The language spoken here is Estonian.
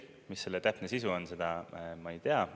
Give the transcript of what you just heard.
Mis selle täpne sisu on, seda ma ei tea.